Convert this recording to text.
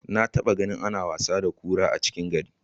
Na taba ganin ana wasa da kura a cikin gari.